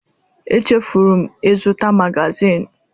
Echefuru m ịzụta magazin